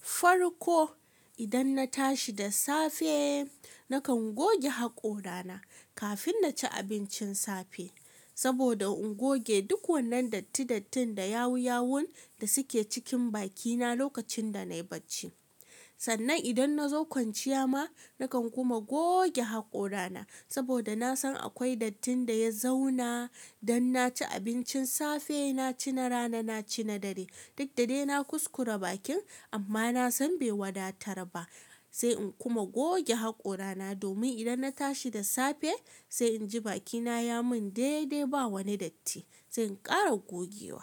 Farko idan na tashi da safe, nakan goge haƙorana kafin na ci abincin safe, saboda in goge duk wannan datti-dattin da yawu-yawun da suke cikin bakina lokacin da na yi bacci. Sannan idan na zo kwanciya ma, nakan kuma goge haƙorana saboda na san akwai dattin da ya zauna. Dan na ci abincin safe, na ci na rana, na ci na dare, duk da dai na kuskura bakin amma na san bai wadatar ba. Sai in kuma goge haƙorana domin idan na tashi da safe, sai inji bakina ya min daidai ba wani datti. Sai in ƙara gogewa.